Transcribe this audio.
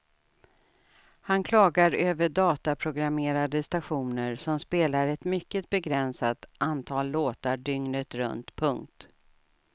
Han klagar över dataprogrammerade stationer som spelar ett mycket begränsat antal låtar dygnet runt. punkt